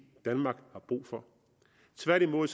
danmark har brug for tværtimod